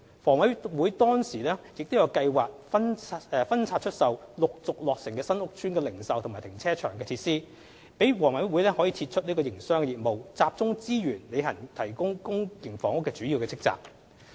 房委會當時亦有計劃分拆出售陸續落成新屋邨的零售及停車場設施，讓房委會可撤出營商業務，集中資源履行提供公營房屋的主要職責。